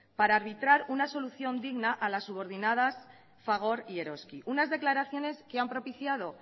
para arbitrar una solución digna a las subordinadas fagor y eroski unas declaraciones que han propiciado